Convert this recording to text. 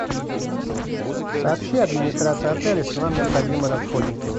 сообщи администрации отеля что нам необходимы расходники